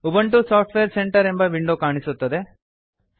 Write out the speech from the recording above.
Ubuntu software centre ಎಂಬ window ಕಾಣಿಸುತ್ತದೆ